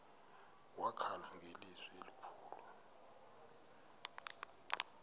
wakhala ngelizwi elikhulu